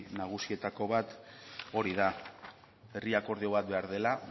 nagusietako bat hori da herri akordio bat behar dela